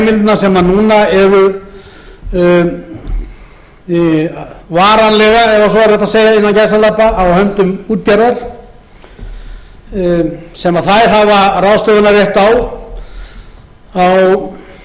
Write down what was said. því sem nú er það er verið að leggja til hæstvirtur forseti að aflaheimildirnar sem núna eru varanlegar ef svo er hægt að segja innan gæsalappa á höndum útgerðar sem þær hafa ráðstöfunarrétt